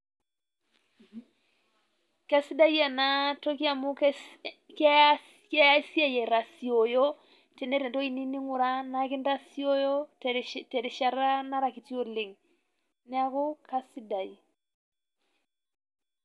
Kesidai ena ntoki amu keas kea siai aitoshooyo tinieta ntoki niyeu ning'urai naa nkitasooyo te rishaata nera nkitii oleng. Neeku kasidai.